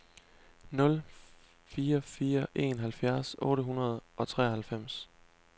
nul fire fire en halvfjerds otte hundrede og treoghalvfems